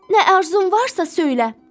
Nə arzun varsa söylə.